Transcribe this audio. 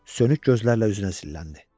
Sönük gözlərlə üzünə illəndi.